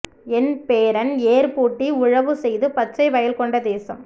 என் பேரன் ஏர் பூட்டி உழவு செய்து பச்சை வயல் கொண்ட தேசம்